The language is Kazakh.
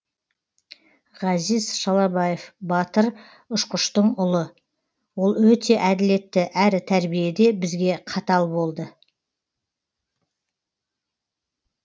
ғазиз шалабаев батыр ұшқыштың ұлы ол өте әділетті әрі тәрбиеде бізге қатал болды